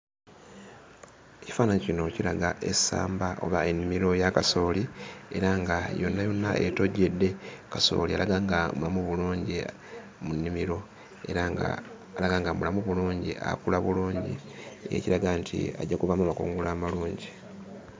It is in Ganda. Ekifaananyi kino kiraga essamba oba ennimiro ya kasooli era nga yonna yonna etojjedde. Kasooli alaga nga mulamu bulungi mu nnimiro era ng'alaga nga mulamu bulungi akula bulungi ekiraga nti ajja kuvaamu amakungula amalungi.